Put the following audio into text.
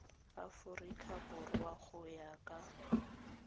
aforika borwa go ya ka